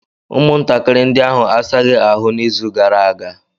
Ụmụntakịrị ndị ahụ asaghị ahụ n'izu gara aga.